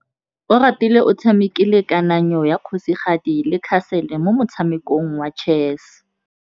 Oratile o tshamekile kananyô ya kgosigadi le khasêlê mo motshamekong wa chess.